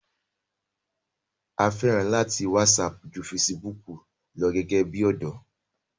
a fẹ́ràn láti lo wásapù ju fesibúkù lọ gẹ́gẹ́ bí ọ̀dọ́